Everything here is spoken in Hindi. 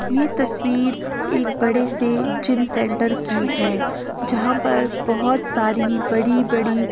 ये तस्वीर एक बड़े से जिम सेंटर की है जहां पर बहोत सारी बड़ी-बड़ी --